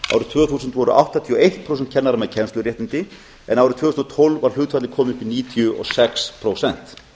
tvö þúsund voru áttatíu og eitt prósent kennara með kennsluréttindi en árið tvö þúsund og tólf var hlutfallið komið upp í níutíu og sex prósent